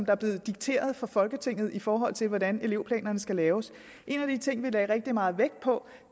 er blevet dikteret fra folketinget i forhold til hvordan elevplanerne skal laves en af de ting vi lagde rigtig meget vægt på